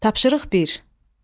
Tapşırıq bir.